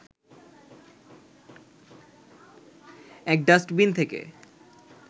এক ডাস্টবিন থেকে